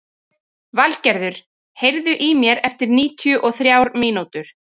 Valgerður, heyrðu í mér eftir níutíu og þrjár mínútur.